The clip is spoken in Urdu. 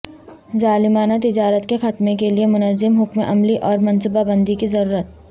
ظالمانہ تجارت کے خاتمہ کے لیے منظم حکمت عملی اور منصوبہ بندی کی ضرورت